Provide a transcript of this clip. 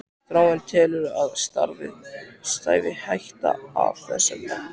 Þráinn: Telurðu að þér stafi hætta af þessum mönnum?